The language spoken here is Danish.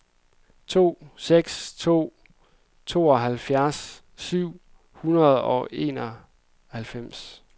to seks to en tooghalvfjerds syv hundrede og enoghalvfems